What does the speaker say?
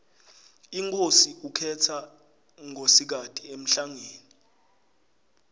inkhosi ukhetsa nkosikati emhlangeni